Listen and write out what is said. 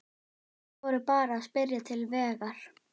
Þeir voru bara að spyrja til vegar.